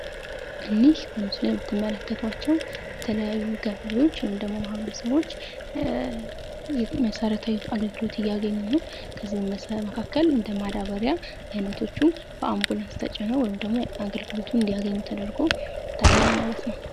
እኒህ በምስሉ ላይ የትመለከቷቸው የተለያዩ ገበሬዎች ወይም ደግሞ ማህበርስቦች መሰረታዊ አገልግሎት እያገኙ ነው። ከዚህ መካከል እንደማዳበሪያ አይነቶቹ በአንቡላንስ ተጭነው ወይም ደሞ አገልግሎቱ እንዲያገኝ ተደርጎ ይታያል ማለት ነው።